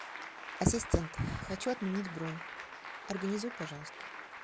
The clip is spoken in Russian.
ассистент хочу отменить бронь организуй пожалуйста